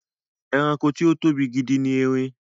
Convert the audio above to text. Ẹranko tí ó tóbi gidi ni erin.